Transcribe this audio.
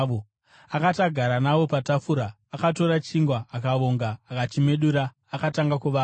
Akati agara navo patafura, akatora chingwa, akavonga, akachimedura akatanga kuvapa.